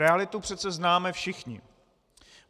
Realitu přece známe všichni.